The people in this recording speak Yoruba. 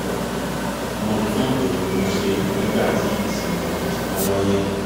mo tún èrò mi ṣe nígbàtí ìṣẹ̀lẹ̀ òjijì kan wáyé